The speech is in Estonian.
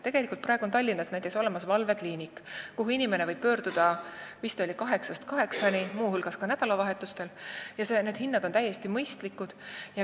Tegelikult on Tallinnas praegu olemas valvekliinik, kuhu inimene võib pöörduda vist 8-st 20-ni, muu hulgas nädalavahetustel, ja hinnad on seal täiesti mõistlikud.